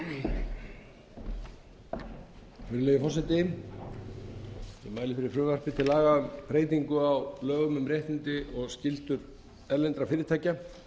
virðulegi forseti ég mæli fyrir frumvarpi til laga um breytingu á lögum um réttindi og skyldur erlendra fyrirtækja